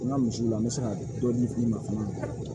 N ka misiw la n bɛ se ka dɔɔni f'i ma fana